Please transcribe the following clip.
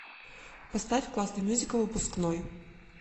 поставь классный мюзикл выпускной